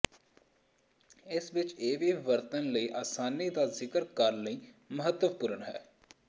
ਇਸ ਵਿਚ ਇਹ ਵੀ ਵਰਤਣ ਵਿੱਚ ਆਸਾਨੀ ਦਾ ਜ਼ਿਕਰ ਕਰਨ ਲਈ ਮਹੱਤਵਪੂਰਨ ਹੈ